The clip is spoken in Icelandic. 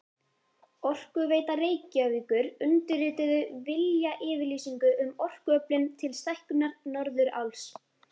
Orkuveita Reykjavíkur undirrituðu viljayfirlýsingu um orkuöflun til stækkunar Norðuráls.